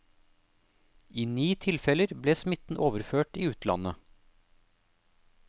I ni tilfeller ble smitten overført i utlandet.